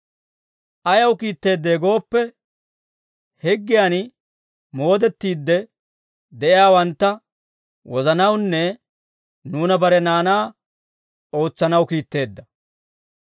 Ayaw kiitteeddee gooppe, higgiyan moodettiide de'iyaawantta wozanawunne nuuna bare naanaa ootsanaw kiitteedda.